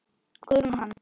Guðrún og hann.